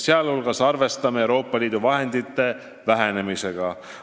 Üldiselt arvestame Euroopa Liidu vahendite vähenemisega.